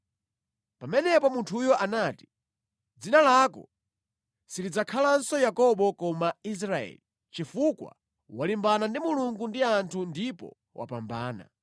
Pamenepo munthuyo anati, “Dzina lako silidzakhalanso Yakobo koma Israeli, chifukwa walimbana ndi Mulungu ndi anthu ndipo wapambana.”